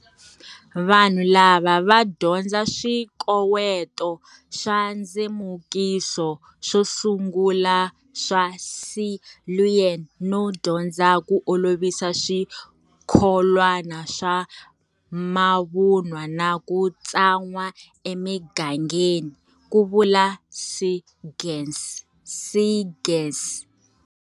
Vanhu lava va dyondza swikoweto swa ndzemukiso swo sungula swa Siluan no dyondza ku olovisa swi kholwana swa mavunwa na ku tsan'wa emigangeni, Ku vula Seegers.